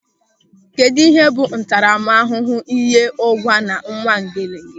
Kedụ ihe bụ ntaramahụhụ nye ụ̀gwa na Nwangele?